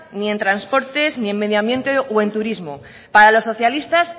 ni en transportes ni en medioambientes o en turismo para los socialistas